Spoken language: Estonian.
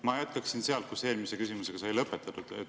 Ma jätkan sealt, kus eelmise küsimusega sai lõpetatud.